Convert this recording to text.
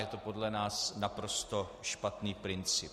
Je to podle nás naprosto špatný princip.